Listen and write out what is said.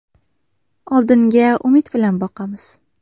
Oldinga umid bilan boqamiz.